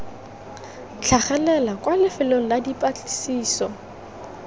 tlhagelela kwa lefelong la dipatlisiso